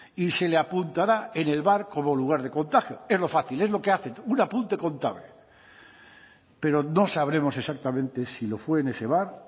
y se le apuntará en el bar como lugar de contagio es lo fácil es lo que hacen un apunte contable pero no sabremos exactamente si lo fue en ese bar